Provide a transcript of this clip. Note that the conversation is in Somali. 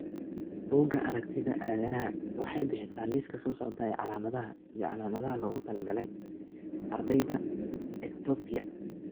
Bugga Aragtiyaha Aanadanaha waxay bixisaa liiska soo socda ee calaamadaha iyo calaamadaha loogu talagalay ardayda Ectopia.